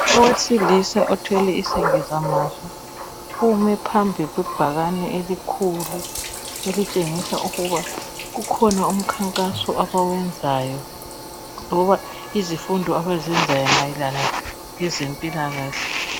Owesilisa othwele isengeza mazwi ume phambi kwebhakani elikhulu elitshengisa ukuba kukhona umkhakhaso abawezayo loba izifundo abazezayo mayelana lezempilakahle.